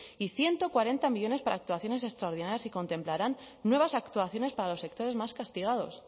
y ciento cuarenta millónes para actuaciones extraordinarias y contemplarán nuevas actuaciones para los sectores más castigados